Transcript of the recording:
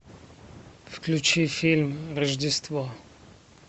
включи фильм рождество